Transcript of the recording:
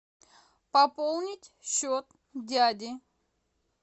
пополнить счет дяди